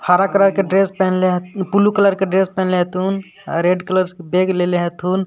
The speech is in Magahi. हरा कलर के ड्रेस पहनले ह ब्लू कलर के ड्रेस हथुन आ रेड कलर के बैग ले-ले हथुन.